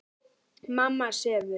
Mamma sefur.